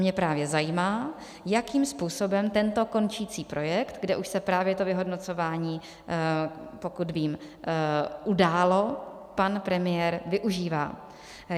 Mě právě zajímá, jakým způsobem tento končící projekt, kde už se právě to vyhodnocování, pokud vím, událo, pan premiér využívá.